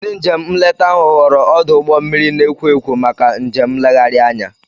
Ndị njem nleta ahụ họrọ ọdụ ụgbọ mmiri na-ekwo ekwo maka njem nlegharị anya